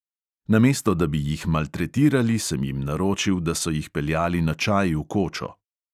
"Namesto da bi jih maltretirali, sem jim naročil, da so jih peljali na čaj v kočo."